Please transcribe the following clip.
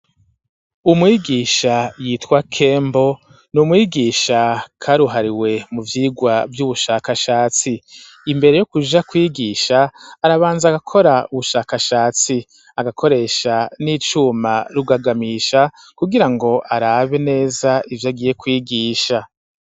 Umwigisha yitwa kembo n'umwigisha karuhariwe mu vyigwa by'ubushakashatsi imbere yo kuja kwigisha arabanza gakora ubushakashatsi agakoresha n'icuma rugagamisha kugirango arabe neza ivyo agiye kwigisha.